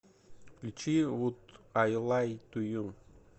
включи вуд ай лай ту ю